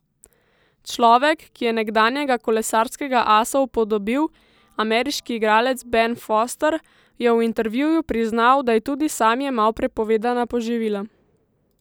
Človek, ki je nekdanjega kolesarskega asa upodobil, ameriški igralec Ben Foster, je v intervjuju priznal, da je tudi sam jemal prepovedana poživila.